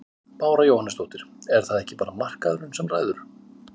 Bára Jóhannesdóttir: Er það ekki bara markaðurinn sem ræður?